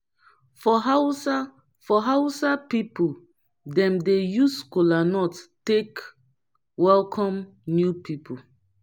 for hausa for hausa pipu them dey use kolanut take welcome new pipu